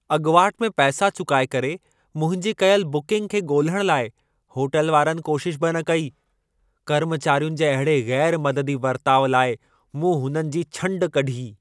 अॻिवाट में पैसा चुकाए करे मुंहिंजी कयल बुकिंग खे ॻोल्हण लाइ होटल वारनि कोशिश बि न कई। कर्मचारियुनि जे अहिड़े ग़ैरु मददी वर्ताउ लाइ मूं हुननि जी छंड कढी।